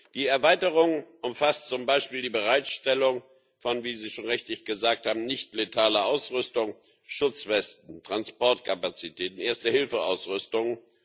Die Erweiterung umfasst zum Beispiel die Bereitstellung von wie Sie schon richtig gesagt haben nicht letaler Ausrüstung Schutzwesten, Transportkapazitäten, Erste Hilfe Ausrüstungen.